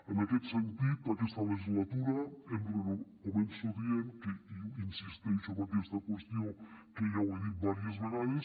en aquest sentit aquesta legislatura començo dient i insisteixo en aquesta qüestió que ja ho he dit diverses vegades